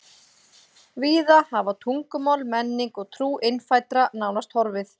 Víða hafa tungumál, menning og trú innfæddra nánast horfið.